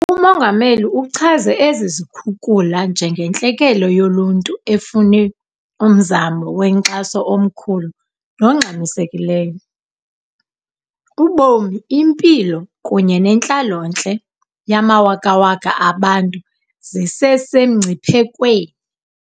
UMongameli uchaze ezi zikhukula njengentlekele yoluntu efune "umzamo wenkxaso omkhulu nongxamisekileyo."Ubomi, impilo kunye nentlalontle yamawakawaka abantu zisesemngciphekweni.